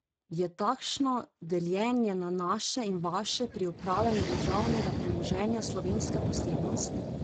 Je takšno deljenje na naše in vaše pri upravljanju državnega premoženja slovenska posebnost?